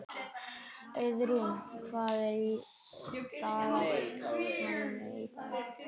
Auðrún, hvað er í dagatalinu í dag?